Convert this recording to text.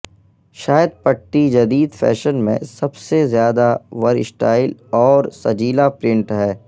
شاید پٹی جدید فیشن میں سب سے زیادہ ورسٹائل اور سجیلا پرنٹ ہے